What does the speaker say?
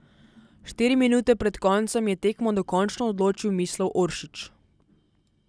Štiri minute pred koncem je tekmo dokončno odločil Mislav Oršić.